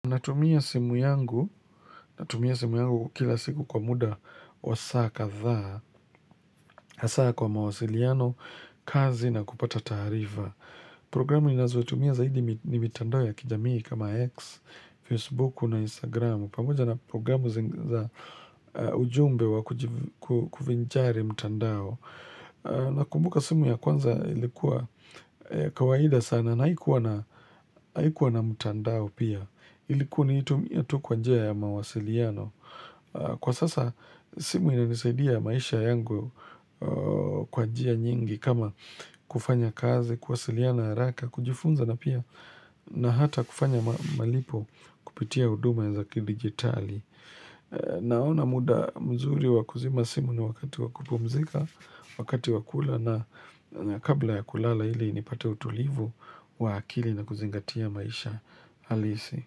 Natumia simu yangu, natumia simu yangu kila siku kwa muda wa saa kadhaa, hasa kwa mawasiliano, kazi na kupata taarifa. Programu ninazotumia zaidi ni mitandao ya kijamii kama X, Facebook na Instagram. Pamoja na programu za ujumbe wa kuvinjari mitandao. Nakumbuka simu ya kwanza ilikuwa ya kawaida sana na haikuwa na haikuwa na mtandao pia. Nilikuwa naitumia tu kwa njia ya mawasiliano. Kwa sasa simu inanisaidia maisha yangu kwa njia nyingi kama kufanya kazi kuwasiliana haraka, kujifunza na pia na hata kufanya malipo kupitia huduma za kidigitali Naona muda mzuri wa kuzima simu ni wakati wa kupumzika wakati wa kula na kabla ya kulala ili nipate utulivu wa akili na kuzingatia maisha halisi.